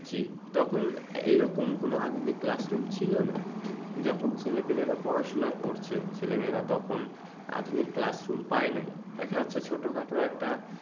জি তখন এইরকম কোনো আধুনিক classroom ছিলনা যখন ছেলেপিলেরা পড়াশুনা করছে ছেলেমেয়েরা তখন আধুনিক classroom পায়নাই। দেখা যাচ্ছে ছোটখাটো একটা